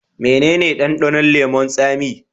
Mene ne dandanon leman tsami?